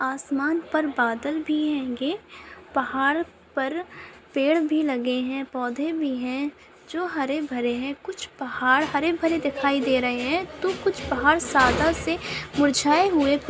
आसमान पर बादल भी है पहाड़ पर पेड़ भी लगे है पौधे भी है जो हरे भरे है कुछ पहाड़ हरे भरे दिखाई दे रहे है तो कुछ पहाड़ सादा से मुरझाए हुए